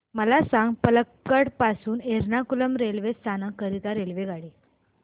मला सांग पलक्कड पासून एर्नाकुलम रेल्वे स्थानक करीता रेल्वेगाडी